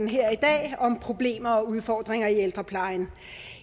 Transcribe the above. her i dag om problemer og udfordringer i ældreplejen